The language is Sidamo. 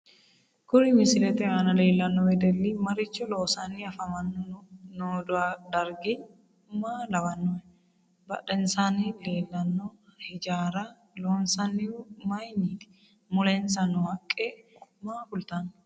Kuri misilete anna leelanno wedelli maricho loosani afamanno noo darggi maa lawanohe badhensaani leelanno hijaara loonsonihu mayiiniti mulensa noo haqqe maa kultanno